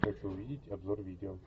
хочу увидеть обзор видео